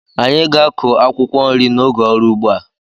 Anyị ga-akụ akwụkwọ nri n'oge ọrụ ugbo a.